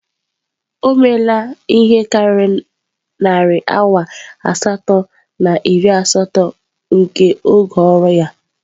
O meela ihe karịrị narị awa asatọ na iri asatọ nke oge ọrụ ya.